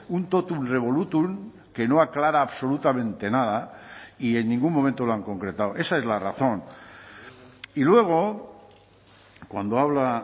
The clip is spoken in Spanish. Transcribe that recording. un totum revolutum que no aclara absolutamente nada y en ningún momento lo han concretado esa es la razón y luego cuando habla